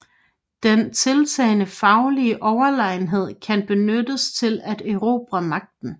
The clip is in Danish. Den tiltagende faglige Overlegenhed kan benyttes til at erobre Magten